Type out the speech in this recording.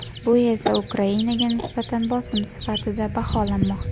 Bu esa Ukrainaga nisbatan bosim sifatida baholanmoqda.